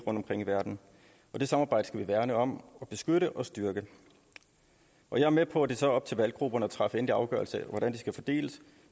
omkring i verden det samarbejde skal vi værne om og beskytte og styrke jeg er med på at det så er op til valggrupperne at træffe en endelig afgørelse af hvordan de skal fordeles